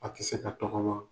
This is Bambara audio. A tɛ se ka tɔgɔma.